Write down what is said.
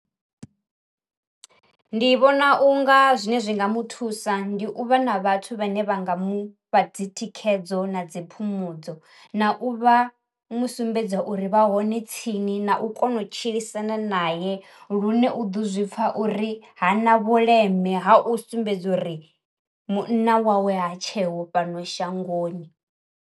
Ndi vhona u nga zwine zwi nga muthusa ndi u vha na vhathu vhane vha nga mufha dzi thikhedzo na dzi phumudzo. Na u vha mu umbedza uri vha hone tsini na u kona u tshilisana nae lune u ḓo zwi pfa uri ha na vhuleme ha u sumbedza uri munna wawe ha tsheho fhano shangoni.